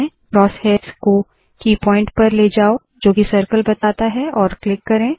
cross hairs को की point पर ले जाओ जोकी सर्कल बताता है और क्लिक करे